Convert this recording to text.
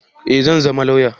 Eh zan zama lauya